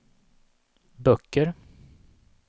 böcker